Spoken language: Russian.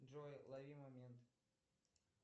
джой лови момент